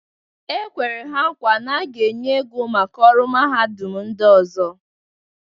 E kweru ha nkwa na a ga-enye ego maka ọrụ mahadum ndị ọzọ.